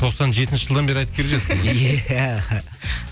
тоқсан жетінші жылдан бері айтып келе жатырсың